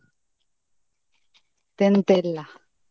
ಮತ್ತೆ ಎಂತ ಇಲ್ಲ.